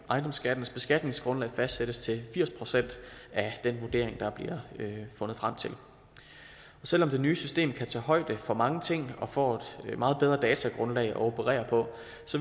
ejendomsskattens beskatningsgrundlag fastsættes til firs procent af den vurdering der bliver fundet frem til selv om det nye system kan tage højde for mange ting og får et meget bedre datagrundlag at operere på